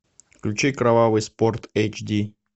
включи кровавый спорт эйч ди